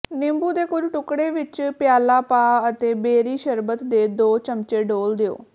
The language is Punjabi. ਨਿੰਬੂ ਦੇ ਕੁਝ ਟੁਕੜੇ ਵਿੱਚ ਪਿਆਲਾ ਪਾ ਅਤੇ ਬੇਰੀ ਸ਼ਰਬਤ ਦੇ ਦੋ ਚਮਚੇ ਡੋਲ੍ਹ ਦਿਓ